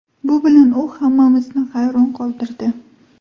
Bu bilan u hammamizni hayron qoldirdi.